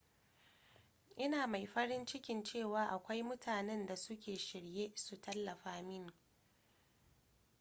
ina mai farin ciki cewa akwai mutanen da suke shirye su tallafa mini